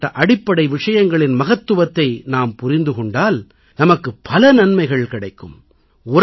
இப்படிபப்ட்ட அடிப்படை விஷயங்களின் மகத்துவத்தை நாம் புரிந்து கொண்டால் நமக்குப் பல நன்மைகள் கிடைக்கும்